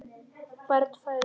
Barn fæðist.